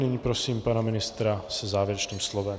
Nyní prosím pana ministra se závěrečným slovem.